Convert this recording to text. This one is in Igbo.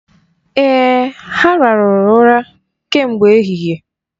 Èè, ha ràhụrụ ụra kemgbe ehihie.